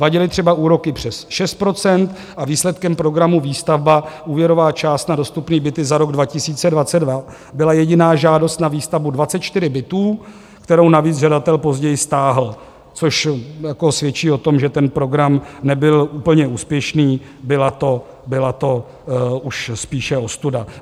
Vadily třeba úroky přes 6 % a výsledkem programu Výstavba, úvěrová část na dostupné byty za rok 2022, byla jediná žádost na výstavbu 24 bytů, kterou navíc žadatel později stáhl, což svědčí o tom, že ten program nebyl úplně úspěšný, byla to už spíše ostuda.